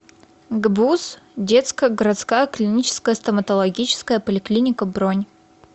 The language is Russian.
гбуз детская городская клиническая стоматологическая поликлиника бронь